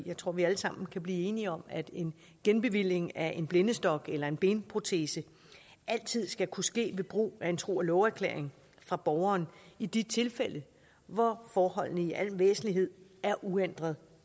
jeg tror vi alle sammen kan blive enige om at en genbevilling af en blindestok eller en benprotese altid skal kunne ske ved brug af en tro og love erklæring fra borgeren i de tilfælde hvor forholdene i al væsentlighed er uændret